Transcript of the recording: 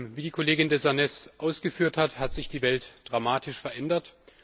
Wie die Kollegin de Sarnez ausgeführt hat, hat sich die Welt dramatisch verändert.